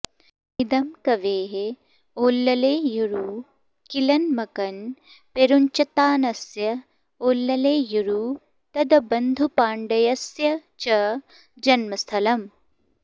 इदं कवेः ओल्लैयूरु किलन् मकन् पेरुञ्चत्तानस्य ओल्लैयूरु तन्दबुधपाण्ड्यस्य च जन्मस्थलम्